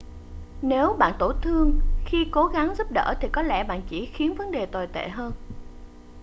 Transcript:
nếu bạn bị tổn thương khi cố gắng giúp đỡ thì có lẽ bạn chỉ khiến vấn đề tồi tệ hơn